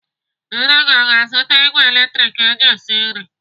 Nne gị o ga-azụta ìgwè latrik eji esi nri?